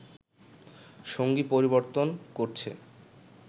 সঙ্গী পরিবর্তন করছে